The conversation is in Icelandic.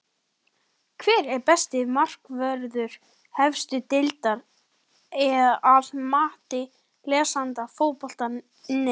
Hver er besti markvörður efstu deildar að mati lesenda Fótbolti.net?